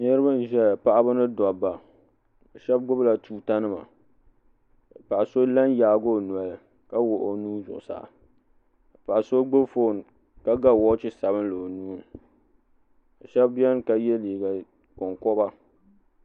Niriba n ʒɛya paɣaba ni dabba sheba gbibi la tuuta nima ka so la n yaagi o noli ka wuɣi o nuu zuɣusaa paɣa so gbibi fooni ka ga woochi sabinli o nuuni sheba biɛni ka ye liiga konkoba.